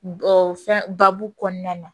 fɛn babu kɔnɔna na